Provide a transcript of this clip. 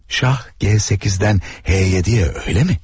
Şah G8-dən H7-yə, öyləmi?